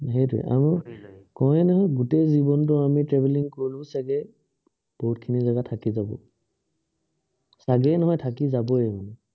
সেইটোৱেই। আৰু কওঁৱেই নহয়, গোটেই জীৱনটো আমি traveling কৰিলেও চাগে, বহুতখিনি জেগা থাকি যাব। চাগে নহয়, থাকি যাবই।